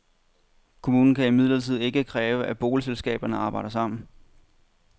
Kommunen kan imidlertid ikke kræve, at boligselskaberne arbejder sammen.